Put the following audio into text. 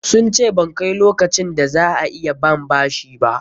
Sun ce ban kai lokacin da za a iya ban bashi ba.